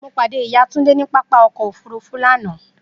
Mo pade iya Tunde ni papa ọkọ ofurufu lana.